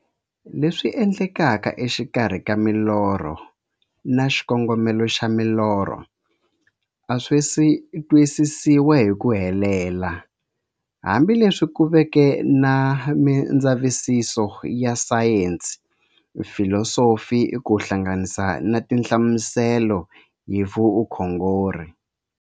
Leswi endlekaka exikarhi ka milorho na xikongomelo xa milorho a swisi twisisiwa hi ku helela, hambi leswi ku veke na mindzavisiso ya sayensi, filosofi ku hlanganisa na tinhlamuselo hi vukhongori.